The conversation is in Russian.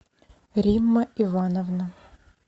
римма ивановна